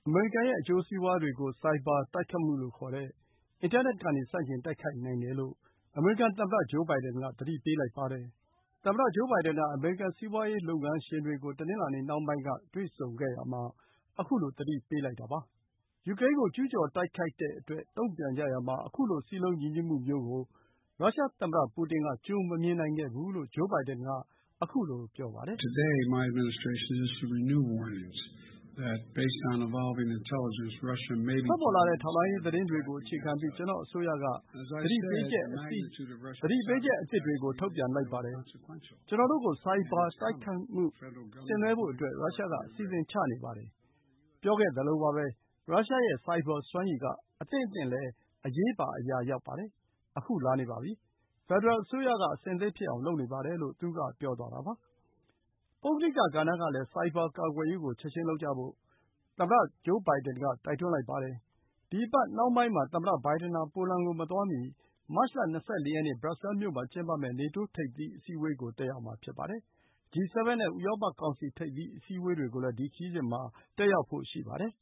မေရိကန်ရဲ့ အကျိုးစီးပွါးတွေကို ဆိုက်ဘာတိုက်ခိုင်မှုလို့ ခေါ်တဲ့ အင်တာနက် ကနေ ဆန့်ကျင် တိုက်ခိုက်နိုင်တယ်လို့ အမေရိကန်သမ္မတ ဂျိုးဘိုင်ဒန်က သတိပေးလိုက်ပါတယ်။ သမ္မတဂျိုးဘိုင်ဒန်က အမေရိကန်စီးပွါးရေးလုပ်ငန်းရှင်တွေကို တနင်္လာနေ့ နှောင်းပိုင်းက တွေ့ဆုံခဲ့ရာမှာ ခုလို သတိပေးလိုက်တာ ဖြစ်ပါတယ်။ ယူကရိန်းကို ကျူးကျော်တိုက်ခိုက်တဲ့အတွက် တုံ့ပြန်ကြရာမှာ ခုလို စည်းလုံးညီညွတ်မှုမျိုးကို ရုရှား သမ္မတပူတင်က ကြိုမမြင်နိုင်ခဲ့ဘူးလို့ ဂျိုးဘိုင်ဒန်က ခုလို ပြောပါတယ်။ “ထွက်ပေါ်လာတဲ့ ထောက်လှမ်းရေးသတင်းတွေကို အခြေခံပြီး ကျနော့်အစိုးရက သတိပေးချက်အသစ်တွေ ထုတ်ပြန်လိုက်ပါတယ်။ ကျနော်တို့ကို ဆိုက်ဘာ တိုက် ခိုက်မှုဆင်နွှဲဖို့ ရုရှားက အစီအစဉ် ချနေပါတယ်။ ပြောခဲ့သလိုပဲ၊ ရုရှားရဲ့ ဆိုက်ဘာ စွမ်းရည်က အသင့်အသင့်လည်း အရေးပါ အရာရောက်ပါတယ်။ ခု လာနေပါပြီ။ ဖက်ဒရယ်အစိုးရက အဆင်သင့် ဖြစ်အောင် လုပ်နေပါတယ်” လို့ သူက ပြောသွားတာပါ။ ပုဂ္ဂလိက ကဏ္ဍကလည်း ဆိုက်ဘာကာကွယ်ရေးကို ချက်ချင်းလုပ်ကြဖို့ သူက တိုက်တွန်းလိုက်ပါတယ်။ ဒီအပတ် နှောင်းပိုင်းမှာ သမ္မတဘိုင်ဒန်ဟာ ပိုလန်ကိုမသွားမီ မတ်လ ၂၄ ရက်နေ့ ဘရပ်ဆဲမြို့မှာ ကျင်းပမယ့် နေတိုး ထိပ်သီးအစည်းအဝေးကို တက်ရောက်မှာ ဖြစ်ပါတယ်။ G 7 နဲ့ ဥရောပကောင်စီ ထိပ်သီး အစည်းအဝေးတွေကိုလည်း ဒီ ခရီးစဉ်မှာ တက်ရောက်ဖို့ ရှိပါတယ်